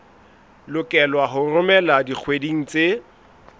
lokelwa ho romelwa dikgweding tse